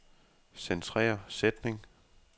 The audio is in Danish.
Centrer sætning.